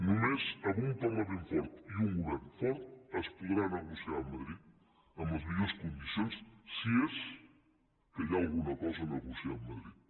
només amb un parlament fort i un govern fort es podrà negociar a madrid en les millors condicions si és que hi ha alguna cosa a negociar amb madrid